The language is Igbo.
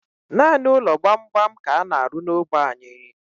Nanị ụlọ gbam gbam ka ana arụ n'ógbè anyi